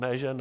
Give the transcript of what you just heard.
Ne že ne.